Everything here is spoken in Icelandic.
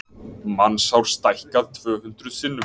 Mannshár stækkað tvö hundruð sinnum.